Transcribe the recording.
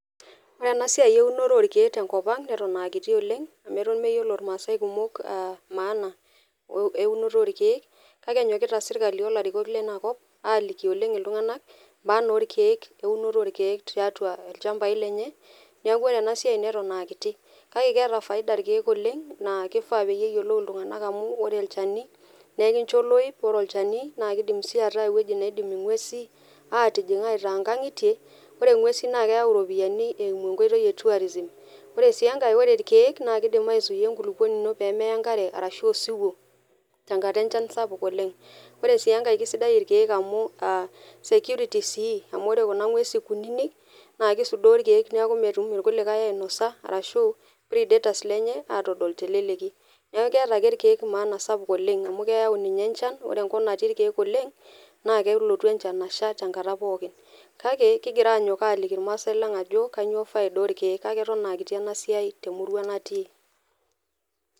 Ore ena siai eunore orkiek tenkop ang neton aa kiti oleng . Amu eton meyiolo irmaasae kumok maana eunore oorkiek , kake enyokita sirkali tenebo olarikok lina kop aliki oleng iltunganak , maana orkiek , eunoto orkiek ,tiatua ilchambai lenye. Niaku ore ena siai neton aa kiti, kake keeta faida irkiek oleng naa kifaa peyie eyiolou iltunganak amu ore olchani naa enkicho oloip, ore olchani naa kdim sii ataa ewueji naidim ingwesi atijing aitaa nkangitie. Ore ingwesi naa keyau iropiyiani eimu enkoitoi e tourism . Ore sii enkae ,ore irkiek naa kidim aizuia enkulupuoni ino pemeya enkare arashu osiwuo tenkata enchan sapuk oleng. Ore sii enkae kisidan irkiek amu security amu ore kuna ngwesin kunini naa kisudoo irkiek niaku metum irkulikae ainosa arashu predators lenye atodol teleleki . Niaku keeta ake irkiek maana sapuk oleng amu keyau ninye enchan. Ore enkop natii irkiek oleng naa kelotu enchan asha tenkata pooki. Kake kingira anyok aliki irmaasae lang ajo kainyioo faida orkiek , kake eton aa kiti ena siai temurua natii.